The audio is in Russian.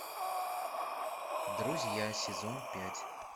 друзья сезон пять